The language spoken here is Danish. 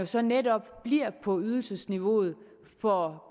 så netop bliver på ydelsesniveauet for